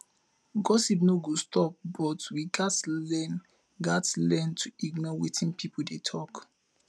gossip no go stop but we gats learn gats learn to ignore wetin pipo dey talk